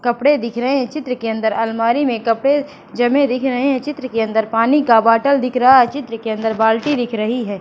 कपड़े दिख रहे हैं चित्र के अंदर अलमारी में कपड़े जमे दिख रहे हैं चित्र के अंदर पानी का बॉटल दिख रहा है चित्र के अंदर बाल्टी दिख रही है।